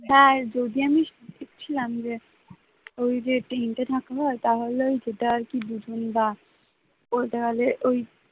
হ্যাঁ যদি আমি সঠিক ছিলাম যে ওই যে tent এ থাকবো তাহলেও সেটা আরকি দুজন বা ওই তাহলে ওই